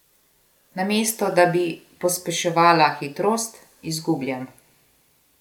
Namesto da bi pospeševala hitrost, izgubljam.